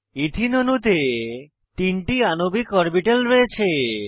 এথেনে অণুতে তিনটি আণবিক অরবিটাল রয়েছে